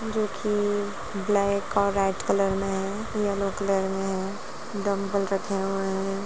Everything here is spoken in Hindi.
जो कि ब्लैक और रेड कलर में हैं यलो कलर में हैं डंबल रखे हुए हैं ।